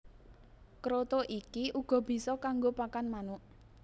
Kroto iki uga bisa kanggo pakan manuk